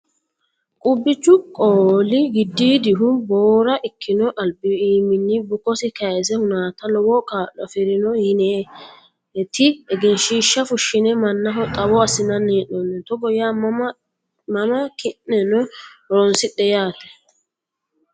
Quphichu qooli giddodihu boora ikkino albi iimini bukkosi kayisse hunate lowo kaa'lo afirino yineti egenshiishsha fushine mannaho xawo assinanni hee'noonihu togo yaa mama ki'neno horonsidhe yaate.